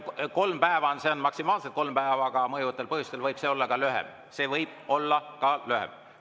Kolm päeva – see on maksimaalselt kolm päeva, aga mõjuvatel põhjustel võib see aeg olla lühem, see võib olla ka lühem.